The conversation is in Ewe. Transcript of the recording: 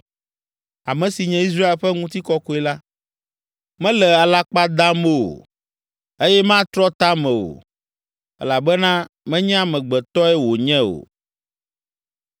Ame si nye Israel ƒe ŋutikɔkɔe la, mele alakpa dam o, eye matrɔ ta me o, elabena menye amegbetɔe wònye o!”